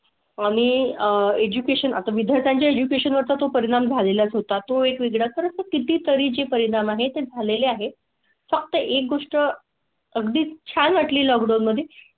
आणि आह एजुकेशन आता विद्यार्थ्यांच्या एज्युकेशन वर तो परिणाम झालेलाच होता. तो एक वेगळा तर किती तरी जी परिणाम आहेत झालेले आहे. फक्त एक गोष्ट अगदी छान वाटली लॉकडाऊन मध्ये.